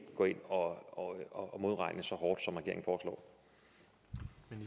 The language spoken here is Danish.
gå ind og modregne så hårdt i